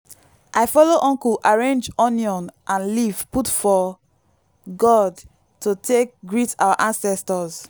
i follow uncle arrange onion and leaf put for gourd to take greet our ancestors.